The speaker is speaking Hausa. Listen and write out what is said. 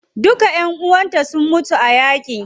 Duka ƴan uwanta sun mutu a yaƙi.